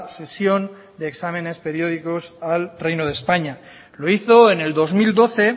sesión de exámenes periódicos al reino de españa lo hizo en el dos mil doce